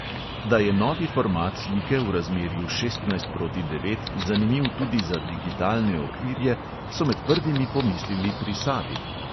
Da je novi format slike v razmerju šestnajst proti devet zanimiv tudi za digitalne okvirje, so med prvimi pomislili pri savi.